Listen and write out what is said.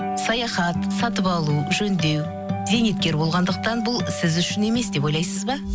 саяхат сатып алу жөндеу зейнеткер болғандықтан бұл сіз үшін емес деп ойлайсыз ба